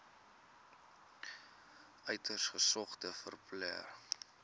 uiters gesogde verpleër